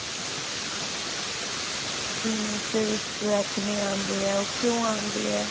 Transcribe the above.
teen age ਦੇ ਵਿੱਚ ਜੋ ਏਕਨੇ ਆਉਂਦੇ ਆ ਉਹ ਕਿਉਂ ਆਉਂਦੇ ਆ